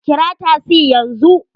Kira tasi yanzu!